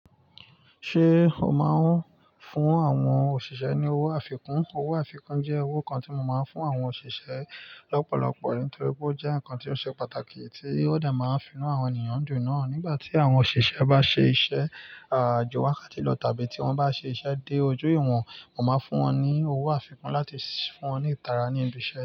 Ṣé o máa ń fún àwọn òṣìṣẹ́ ní owó àfikún? Owó àfikún jẹ́ owó kan tí mo máa ń fún àwọn òṣìṣẹ́ lọ́pọ̀lọpọ̀ nítorí pé ó jẹ́ ǹkan tí ó ṣe pàtàkì tí ó de máa ń fi inú àwọn ènìyàn dùn náà. Nígbà tí àwọn òṣìṣẹ́ bá ṣe iṣẹ́, à ju wákàtí lọ tàbí tí wọ́n bá ṣe iṣẹ́ dé ojú ìwọ̀n, mo máa fún wọn ní owó àfikún láti fún wọn ní ìtara ní ibi iṣẹ́